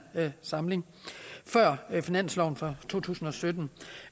samling før finansloven for to tusind og sytten